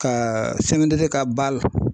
Ka ka ba la